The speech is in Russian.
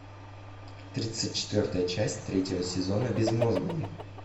тридцать четвертая часть третьего сезона безмозглые